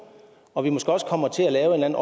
og måske også kommer til at lave en